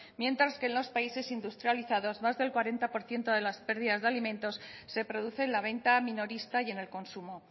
mientras que en los países industrializados más del cuarenta por ciento de las pérdidas de alimentos se produce en la venta minorista y en el consumo